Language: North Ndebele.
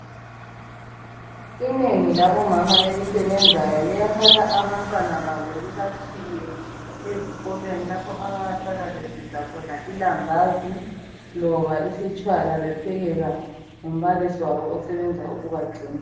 Inengi labomama elisebenzayo liyathatha abantwana babo libatshiye ezikolweni lapho abayasala besidla khona ilambazi loba isitshwala bephekelwa ngumbalisi wabo osebenza ukubagcina.